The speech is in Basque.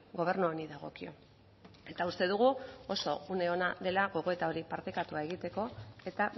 gobernu honi dagokio eta uste dugu oso une ona dela gogoeta hori partekatua egiteko eta